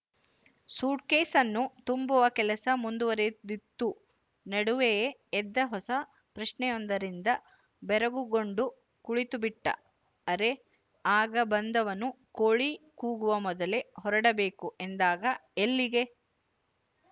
ಸೂಟ್‍ಕೇಸ್ನ್ನು ತುಂಬುವ ಕೆಲಸ ಮುಂದುವರೆದಿತ್ತು ನಡುವೆಯೇ ಎದ್ದ ಹೊಸ ಪ್ರಶ್ನೆಯೊಂದರಿಂದ ಬೆರಗುಗೊಂಡು ಕುಳಿತುಬಿಟ್ಟ ಅರೆ ಆಗ ಬಂದವನು ಕೋಳಿ ಕೂಗುವ ಮೊದಲೇ ಹೊರಡಬೇಕು ಎಂದಾಗ ಎಲ್ಲಿಗೆ